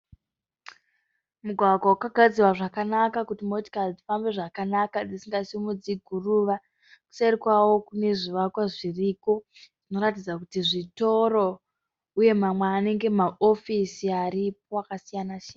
Mugwagwa wakagadzirwa zvakanaka kuti motikari dzifambe zvakanaka dzisinga simudzi guruva. Kuseri kwawo kune zvivakwa zviriko zvinoratidza kuti zvitoro uye mamwe anenge maofisi aripo akasiyana siyana.